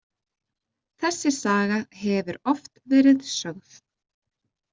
Þessi saga hefur oft verið sögð.